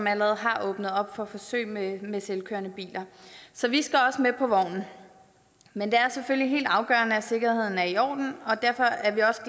allerede har åbnet op for forsøg med med selvkørende biler så vi skal også med på vognen men det er selvfølgelig helt afgørende at sikkerheden er i orden og derfor er vi også